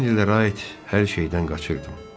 Həmin illərə aid hər şeydən qaçırdım.